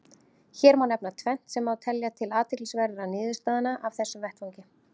Hér má nefna tvennt sem má telja til athyglisverðra niðurstaðna af þessum vettvangi.